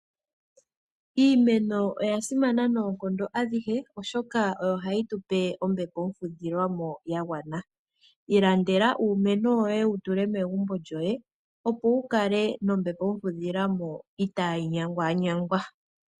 Iimeno oyasimana noonkondo adhihe oshoka oyo hayi tupe ombepo omfudhilwa mo yagwana. Ilandela uumeno woye wu tule megumbo lyoye, opo wukale nombepo omfudhilwa mo itaayi nyangwanyangwa.